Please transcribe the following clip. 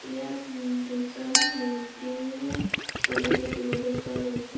ইয়াত উম দুজন মূৰ্তিৰ ছবি দেখিবলৈ পোৱা গৈছে।